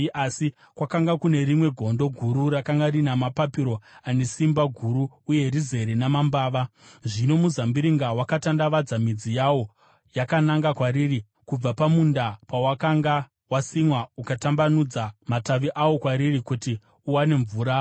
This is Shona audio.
“ ‘Asi kwakanga kune rimwe gondo guru rakanga rina mapapiro ane simba guru uye rizere namambava. Zvino muzambiringa wakatandavadza midzi yawo yakananga kwariri kubva pamunda pawakanga wasimwa ukatambanudza matavi awo kwariri kuti uwane mvura.